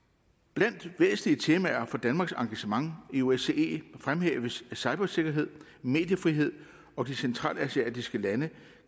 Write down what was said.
blandt væsentlige temaer for danmarks engagement i osce fremhæves cybersikkerhed mediefrihed og de centralasiatiske lande